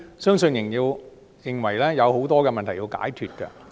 相信仍有很多問題有待解決。